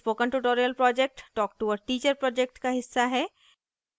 spoken tutorial project talk to a teacher project का हिस्सा है